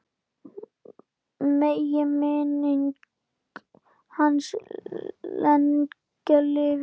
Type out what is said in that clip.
Megi minning hans lengi lifa.